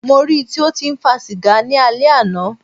Mó rí í tí o tí ń fa sìgá ni alẹ́ àná.